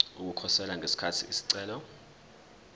ukukhosela ngesikhathi isicelo